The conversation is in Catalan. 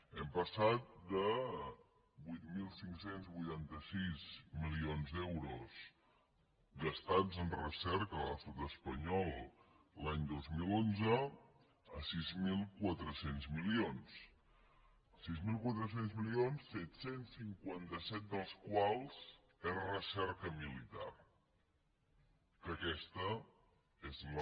hem passat de vuit mil cinc cents i vuitanta sis milions d’euros gastats en recerca a l’estat espanyol l’any dos mil onze a sis mil quatre cents milions sis mil quatre cents milions set cents i cinquanta set dels quals són recerca militar que aquesta és la